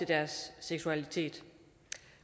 deres seksualitet